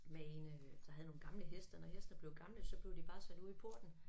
Med en øh der havde nogle gamle heste når hestene blev gamle så blev de bare sat ud i porten